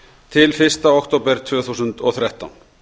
til fyrsta október tvö þúsund og þrettán